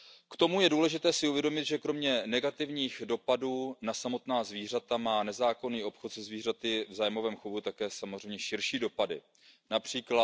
lidí. K tomu je důležité si uvědomit, že kromě negativních dopadů na samotná zvířata má nezákonný obchod se zvířaty v zájmovém chovu také samozřejmě širší dopady,